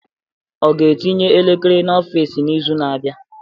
O ga-etinye elekere n'ọfịs n'izu na-abịa?